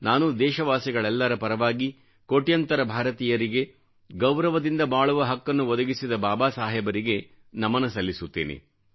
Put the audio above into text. ನಾನು ದೇಶವಾಸಿಗಳೆಲ್ಲರ ಪರವಾಗಿ ಕೋಟ್ಯಂತರ ಭಾರತೀಯರಿಗೆ ಗೌರವದಿಂದ ಬಾಳುವ ಹಕ್ಕನ್ನು ಒದಗಿಸಿದ ಬಾಬಾ ಸಾಹೇಬರಿಗೆ ನಮನ ಸಲ್ಲಿಸುತ್ತೇನೆ